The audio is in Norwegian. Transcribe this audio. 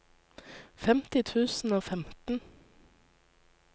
femti tusen og femten